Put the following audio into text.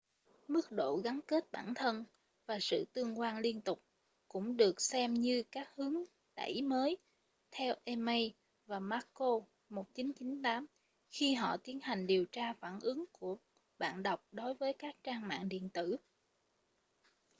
mức độ gắn kết bản thân” và sự tương quan liên tục” cũng được xem như các hướng thúc đẩy mới theo eighmey và mccord 1998 khi họ tiến hành điều tra phản ứng của bạn đọc đối với các trang mạng điện tử